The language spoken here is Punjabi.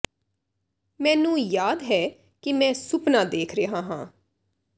ਮੈਨੂੰ ਯਾਦ ਹੈ ਕਿ ਮੈਂ ਸੁਪਨਾ ਦੇਖ ਰਿਹਾ ਹਾਂ